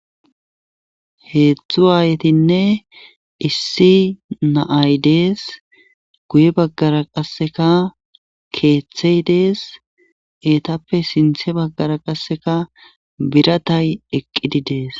heedzdzu aayetinne issi naay dees guye baggara qasseka keeththey dees eetappe sinthe baggara qasseka biratay eqqidi dees